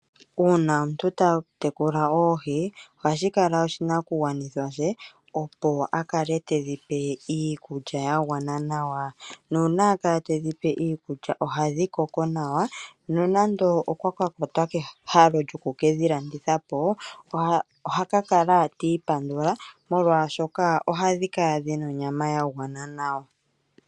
Uuna omuntu ta tekula oohi, ohashi kala oshinakugwanithwa she, opo a kale tedhi pe iikulya ya gwana nawa. Nuuna a kala tedhi pe iikulya ohadhi koko nawa nonando okwa ka kwatwa kehalo lyoku ke dhi landitha po oha ka kala ti ipandula, molwashoka ohadhi kala dhi na onyama ya gwana nawa.